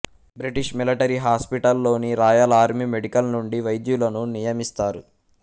British military hospital లోని Royal Army Medical నుండి వైద్యులను నియమిస్తారు